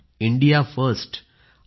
India first हा डॉ